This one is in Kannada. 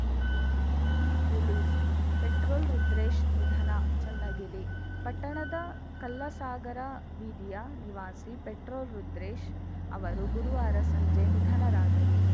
ರಿಲೀಸ್‌ಪೆಟ್ರೋಲ್‌ ರುದ್ರೇಶ್‌ ನಿಧನ ಚನ್ನಗಿರಿ ಪಟ್ಟಣದ ಕಲ್ಲಸಾಗರ ಬೀದಿಯ ನಿವಾಸಿ ಪೆಟ್ರೋಲ್‌ ರುದ್ರೇಶ್‌ ಅವರು ಗುರುವಾರ ಸಂಜೆ ನಿಧನರಾದರು